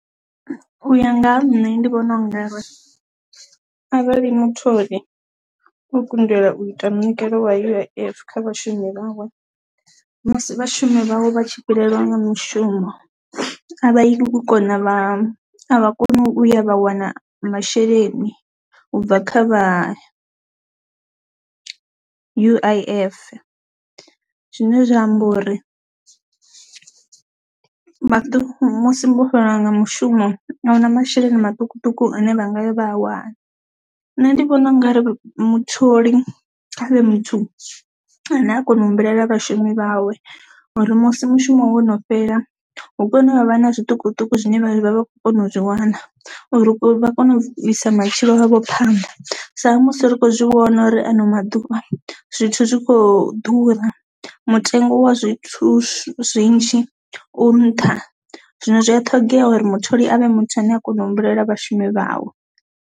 U ya nga ha nṋe ndi vhona u nga ri arali mutholi o kundelwa u ita munikelo wa U_I_F kha vhashumi vhawe musi vhashumi vhawe vha tshi fhelelwa nga mushumo a vha yi vha kona vha a vha koni u ya vha wana masheleni u bva kha vha U_I_F, zwine zwa amba uri maḓi musi vho fhelelwa nga mushumo ahuna masheleni maṱukuṱuku ane vha ngaya vha a wana, ṋne ndi vhona u nga ri mutholi khavhe muthu ane a kona u humbulela vhashumi vhawe uri musi mushumo wono fhela hu kone uvha na zwiṱukuṱuku zwine vha vha vha kho kona u zwi wana, uri vha kone u bvisa matshilo avho phanḓa sa musi ri khou zwi vhona uri ano maḓuvha zwithu zwikho ḓura, mutengo wa zwithu zwinzhi u nṱha zwino zwi a ṱhogea uri mutholi avhe muthu ane a kona u humbulela vhashumi vhawe.